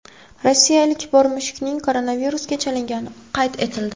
Rossiya ilk bor mushukning koronavirusga chalingani qayd etildi.